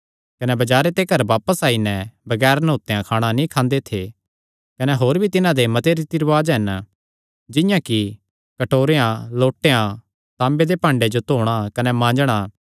कने बजारे ते घर बापस ओणे पर भी बगैर न्हौतेयो खाणा नीं खांदे थे कने होर भी तिन्हां दे मते रीति रिवाज हन जिंआं कि कटोरेयां लोटेयां तांबे दे भाडेयां जो धोणा कने मांजणा